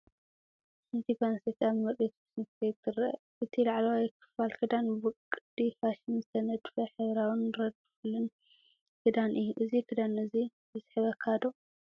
ሓንቲ ጓል ኣንስተይቲ ኣብ ምርኢት ፋሽን ክትከይድ ትርአ። እቲ ላዕለዋይ ክፋል ክዳን ብቅዲ ፋሽን ዝተነድፈ ሕብራዊን ረድፍልን ክዳን እዩ። እዚ ክዳን እዚ ይስሕበካ ዶ?